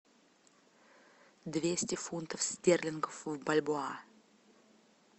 двести фунтов стерлингов в бальбоа